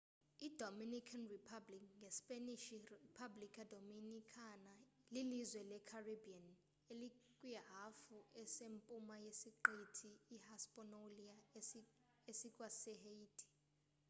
idominican republic ngespanish: república dominicana lilizwe lecaribbean elikwihafu esempuma yesiqithi ihispaniola esikwasehaiti